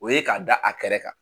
O ye ka da a kɛrɛ kan.